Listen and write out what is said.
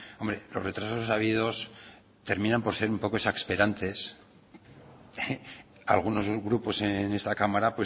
hombre los retrasos habidos terminan por ser un poco exasperantes algunos grupos en esta cámara